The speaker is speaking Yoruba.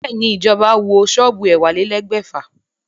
Bẹ́ẹ̀ ni, ìjọba wó ṣọ́ọ́bù ẹ̀wálélẹ̀ẹ́dẹ́gbèfà